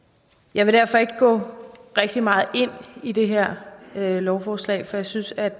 jeg vil derfor ikke gå rigtig meget ind i det her lovforslag for jeg synes at